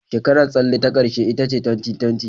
Shekarar tsalle ta ƙarshe ita ce 2020.